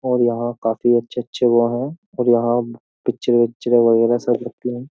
और यहां काफी अच्छे-अच्छे वो हैं और यहां पिक्चर विक्चर वगैरह सब रखती है।